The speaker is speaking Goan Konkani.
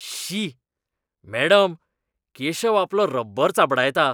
शीृ! मॅडम, केशव आपलो रब्बर चाबडायता.